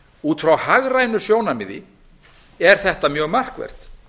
út frá hagrænu sjónarmiði er þetta mjög markvert